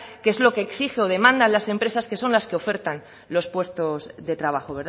que es lo que exigen o demandan las empresas que son las que ofertan los puestos de trabajo